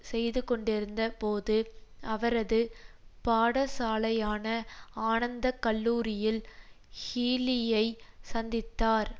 செய்து கொண்டிருந்த போது அவரது பாடசாலையான ஆனந்த கல்லூரியில் ஹீலியை சந்தித்தார்